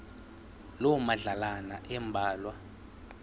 loo madlalana ambalwa